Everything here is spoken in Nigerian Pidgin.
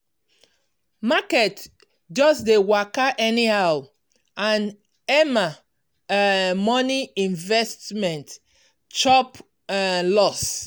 market just dey waka anyhow and emma um money investment chop um loss.